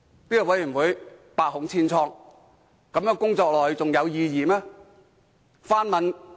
這個委員會百孔千瘡，繼續工作下去還有意義嗎？